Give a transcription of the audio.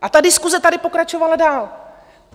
A ta diskuse tady pokračovala dál.